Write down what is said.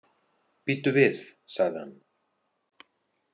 Bíddu við, sagði hann.